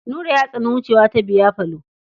Nura ya tsani wucewa ta biyafalo.